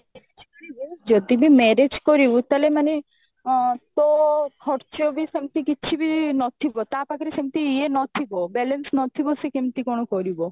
marriage କରିବୁ ଯଦି ବି marriage କରିବୁ ତାହେଲେ ମାନେ ଅ ତ ଖର୍ଚ ବି ସେମତି କିଛି ବି ନଥିବ ତା ପାଖରେ ସେମତି ଇଏ ନଥିବ balance ନଥିବ ସେ କେମତି କଣ କରିବ